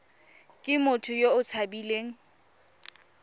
ke motho yo o tshabileng